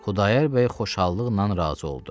Xudayar bəy xoşallıqla razı oldu.